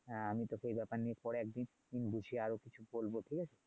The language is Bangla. হ্যাঁ আমি তোকে এ ব্যাপার নিয়ে পরে একদিন বসে আরও কিছু বলবো ঠিক আছে